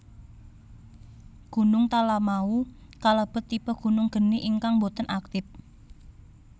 Gunung Talamau kalebet tipe gunung geni ingkang boten aktip